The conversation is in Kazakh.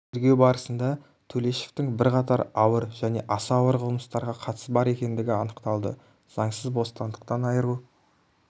тергеу барысында төлешовтің бірқатар ауыр және аса ауыр қылмыстарға қатысы бар екеніндігі анықталды заңсыз бостандықтан айыру